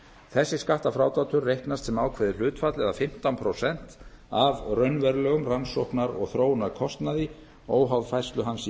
þessi skattfrádráttur reiknast sem ákveðið hlutfall eða fimmtán prósent af raunverulegum rannsóknar og þróunarkostnaði óháð færslu hans í